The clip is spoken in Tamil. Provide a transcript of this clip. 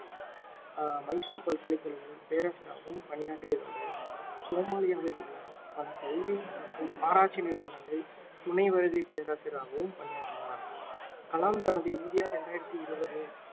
அஹ் மைசூர் பக்கலைக்கழகங்களில் பேரசிரியராகவும் பணியாற்றியதோடு சோமாலியாவில் உள்ள பல கல்வி மற்றும் ஆராய்ச்சி நிறுவங்களின் துணை வருகை பேராசியராகவும் பணியாற்றினார் கலாம் தனது இந்தியா இரண்டாயிரத்தி இருவது